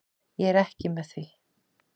Ég er ekki með því.